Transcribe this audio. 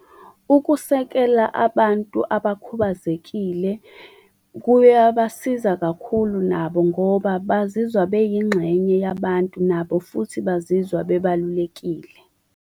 Ukusekela abantu abakhubazekile kuyabasiza kakhulu nabo ngoba bazizwa beyingxenye yabantu, nabo futhi bazizwa bebalulekile.